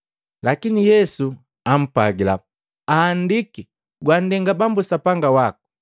Lakini Yesu ampwagila, “Ahandiki, ‘Gwanndenga Bambu Sapanga waku.’ ”